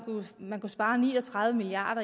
kunne spare ni og tredive milliard